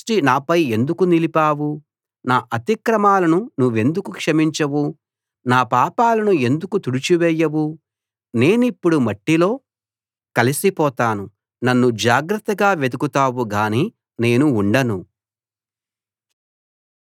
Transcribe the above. నా అతిక్రమాలను నువ్వెందుకు క్షమించవు నా పాపాలను ఎందుకు తుడిచివేయవు నేనిప్పుడు మట్టిలో కలసిపోతాను నన్ను జాగ్రత్తగా వెదకుతావు గానీ నేను ఉండను